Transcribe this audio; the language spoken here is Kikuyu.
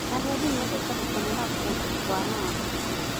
Agendi mendete gũkenera kũndũ kwa Lamu.